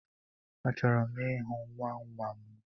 Achọrọ m ịhụ nwanwa m